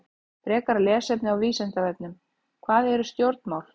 Frekara lesefni á Vísindavefnum: Hvað eru stjórnmál?